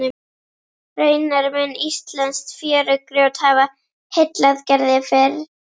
Raunar mun íslenskt fjörugrjót hafa heillað Gerði fyrr.